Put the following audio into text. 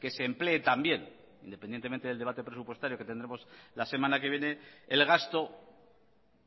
que se emplee también independientemente del debate presupuestario que tendremos la semana que viene el gasto